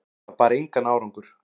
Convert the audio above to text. Það bar engan árangur.